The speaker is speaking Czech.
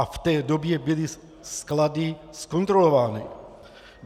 A v té době byly sklady zkontrolovány.